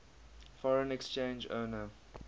foreign exchange earner